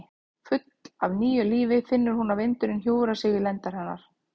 Full af nýju lífi finnur hún að vindurinn hjúfrar sig við lendar hennar.